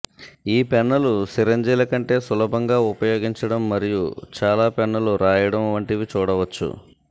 ఈ పెన్నులు సిరంజిల కంటే సులభంగా ఉపయోగించడం మరియు చాలా పెన్నులు రాయడం వంటివి చూడవచ్చు